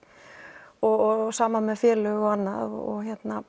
og sama með félög og annað og